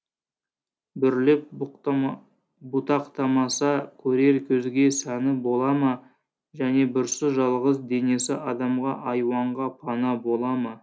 бүрлеп бұтақтамаса көрер көзге сәні бола ма және бүрсіз жалғыз денесі адамға айуанға пана бола ма